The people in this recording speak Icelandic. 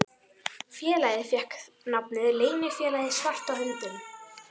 Félagið fékk nafnið Leynifélagið svarta höndin.